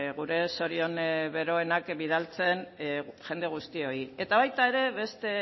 gure zorion beroenak bidaltzen jende guztioi eta baita ere beste